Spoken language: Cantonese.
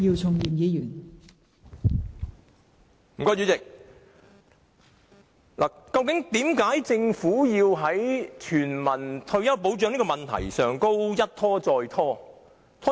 代理主席，為何政府在落實全民退休保障的問題上一拖再拖呢？